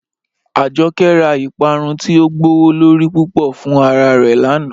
Ajọkẹ̀ rá Ìpàrún ti o gbọwọ́lorí púpọ̀ fún ara rẹ́ lánà.